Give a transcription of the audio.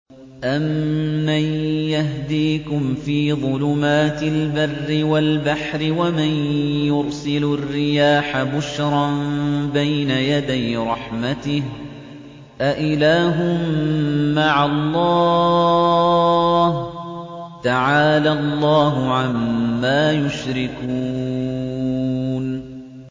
أَمَّن يَهْدِيكُمْ فِي ظُلُمَاتِ الْبَرِّ وَالْبَحْرِ وَمَن يُرْسِلُ الرِّيَاحَ بُشْرًا بَيْنَ يَدَيْ رَحْمَتِهِ ۗ أَإِلَٰهٌ مَّعَ اللَّهِ ۚ تَعَالَى اللَّهُ عَمَّا يُشْرِكُونَ